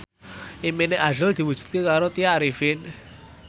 impine azrul diwujudke karo Tya Arifin